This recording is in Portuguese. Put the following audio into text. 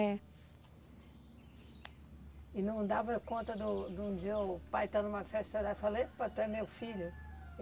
É. E não dava conta do do de um dia o pai estar numa festa olhar e falar, epa, tu é meu filho?